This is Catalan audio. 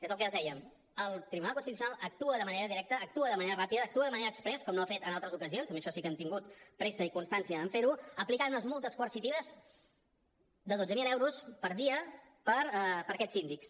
és el que els dèiem el tribunal constitucional actua de manera directa actua de manera ràpida actua de manera exprés com no ha fet en altres ocasions i en això sí que han tingut pressa i constància en fer ho aplicant unes multes coercitives de dotze mil euros per dia per a aquests síndics